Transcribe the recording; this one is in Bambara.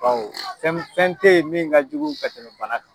Baw fɛn fɛn tɛ yen min ka jugu ka tɛmɛ bana kan.